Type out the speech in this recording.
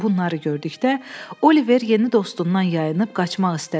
Bunları gördükdə, Oliver yeni dostundan yayınıb qaçmaq istədi.